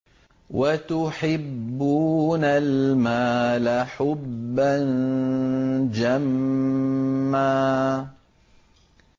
وَتُحِبُّونَ الْمَالَ حُبًّا جَمًّا